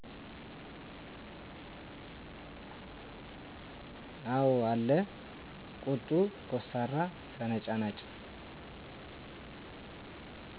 አው አለ ቁጡ፣ ኮስታራ፣ ተነጫናጭ